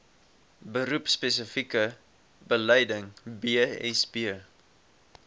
beroepspesifieke bedeling bsb